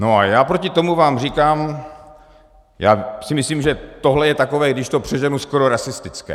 No a já proti tomu vám říkám - já si myslím, že tohle je takové, když to přeženu, skoro rasistické.